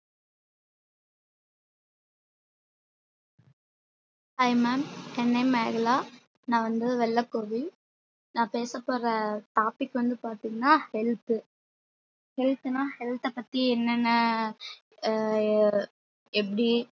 hi ma'am என் name Megala நா வந்து வெள்ளக்கோவில் நா பேச போற topic வந்து பாத்திங்கனா health health ன்னா health அ பத்தி என்னனென்ன எப்டி